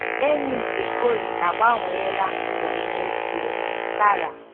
Enyi nke Cori agbanweela ndụ m n'ezie! "- Tara.